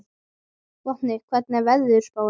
Vopni, hvernig er veðurspáin?